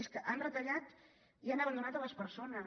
és que han retallat i han abandonat les persones